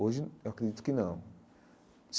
Hoje eu acredito que não.